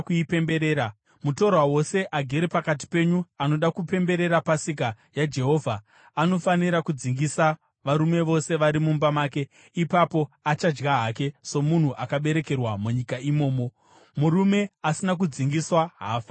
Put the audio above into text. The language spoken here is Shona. “Mutorwa wose agere pakati penyu anoda kupemberera Pasika yaJehovha anofanira kudzingisa varume vose vari mumba make; ipapo achadya hake somunhu akaberekerwa munyika imomo. Murume asina kudzingiswa haafaniri kuidya.